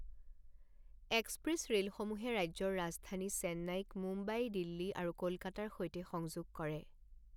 Express ৰেলসমূহে ৰাজ্যৰ ৰাজধানী চেন্নাইক মুম্বাই, দিল্লী আৰু কলকাতাৰ সৈতে সংযোগ কৰে।